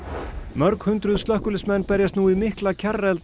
mörg hundruð slökkviliðsmenn berjast nú við mikla